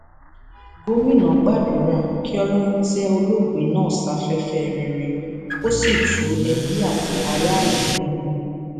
gomina gbàdúrà kí ọlọrun tẹ olóògbé náà sáfẹfẹ rere kó sì tu ebi àti aráàlú nínú